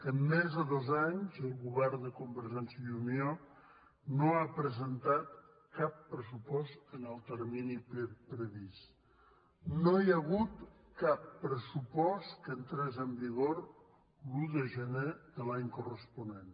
en més de dos anys el govern de convergència i unió no ha presentat cap pressupost en el termini previst no hi ha hagut cap pressupost que entrés en vigor l’un de gener de l’any corresponent